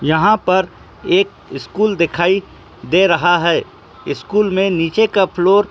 यहाँ पर एक स्कूल दिखाई दे रहा है। स्कूल में नीचे का फ्लोर --